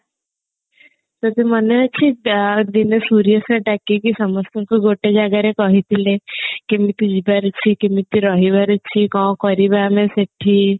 ମନେ ଅଛି ଆ ଦିନେ ସୂର୍ଯା sir ଡାକିକି ସମସ୍ତଙ୍କୁ ଗୋଟେ ଜାଗାରେ କହିଥିଲେ କେମିତି ଯିବାର ଅଛି କେମିତି ରହିବାର ଅଛି କଣ କରିବା ଆମେ ସେଠି